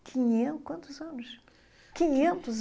quinhen , quantos anos? quinhentos